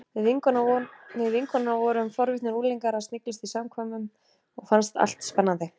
Við vinkonurnar vorum forvitnir unglingar að sniglast í samkvæmunum og fannst allt spennandi.